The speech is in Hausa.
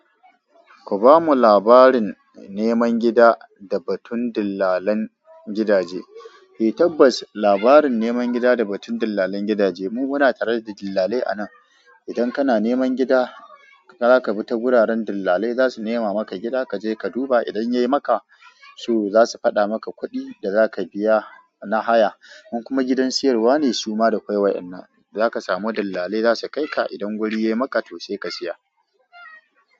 Ku bamu labarin neman gida da batun dillalan gidaje. Eh tabbas, labarin neman gida da batun dillalan gidaje. Mu muna tare da dillalai anan. Idan kana neman gida, zaka bi ta wuraren dillalai. Zasu nema maka gida, kaje ka duba. Idan yayi maka so, zasu fada maka kuɗi da zaka biya na haya. In kuma gidan siyarwa ne suma da kwai. Inda zaka samu dillalai zasu kai ka. Idan guri yayi maka to sai, ka siya.